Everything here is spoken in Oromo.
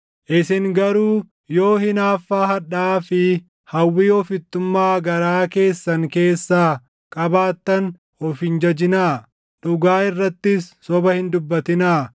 Isin garuu yoo hinaaffaa hadhaaʼaa fi hawwii ofittummaa garaa keessan keessaa qabaattan of hin jajinaa; dhugaa irrattis soba hin dubbatinaa.